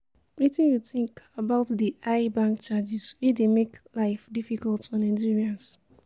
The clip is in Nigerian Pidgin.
Wetin you think about di high bank charges wey dey make life difficult for Nigerians?